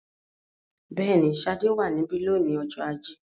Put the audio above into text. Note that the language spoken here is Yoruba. Bẹ́ẹ̀ni, Ṣadé wà níbí lónìí ọjọ́ ajé.